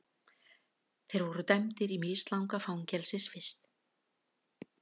Þeir voru dæmdir í mislanga fangelsisvist